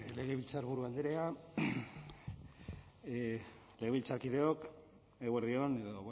legebiltzarburu andrea legebiltzarkideok eguerdi on edo